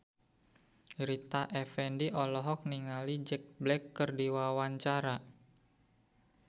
Rita Effendy olohok ningali Jack Black keur diwawancara